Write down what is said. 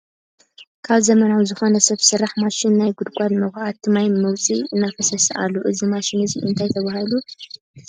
ካብ ዘመናዊ ዝኮነ ሰብ ስራሕ ማሽን ናይ ጉድጋድ መኩዓቲ ማይ መውፂ እናፈሰሰ ኣሎ። እዚ ማሽን እዚ እንታይ ተባሂላ ትፅዋዕ ?